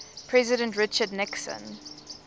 president richard nixon